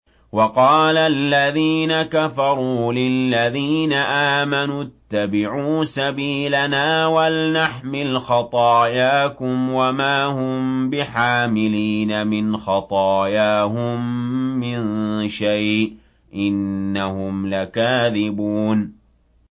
وَقَالَ الَّذِينَ كَفَرُوا لِلَّذِينَ آمَنُوا اتَّبِعُوا سَبِيلَنَا وَلْنَحْمِلْ خَطَايَاكُمْ وَمَا هُم بِحَامِلِينَ مِنْ خَطَايَاهُم مِّن شَيْءٍ ۖ إِنَّهُمْ لَكَاذِبُونَ